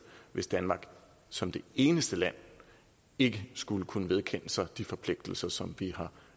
hvis danmark som det eneste land ikke skulle kunne vedkende sig de forpligtelser som vi har